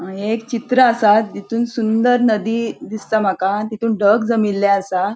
ये एक चित्र असा तितुन सुंदर नदी दिसता माका तितुन ढग जमिल्ले असा.